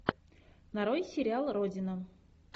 нарой сериал родина